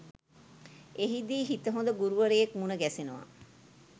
එහිදී හිත හොඳ ගුරුවරයෙක් මුණ ගැසෙනවා.